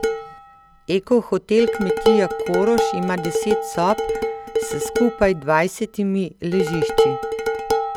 Eko hotel kmetija Koroš ima deset sob s skupaj dvajsetimi ležišči.